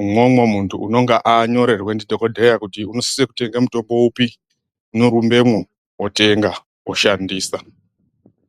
Umwomwo muntu unonga anyorerwe ndidhogodheya kuti unosise kutenge mutombo upi, unorumbemwo otenga oshandisa.